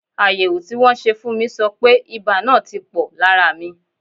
Àyẹ̀wò tí wọ́n ṣe fún mi sọ pé ibà náà ti pò lára mi.